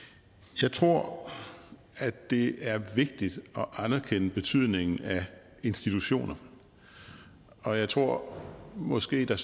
jeg tror at det er vigtigt at anerkende betydningen af institutioner og jeg tror måske at der